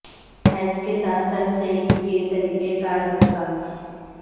ہیچ کے ساتھ تہ سیڑھی کے طریقہ کار پر کام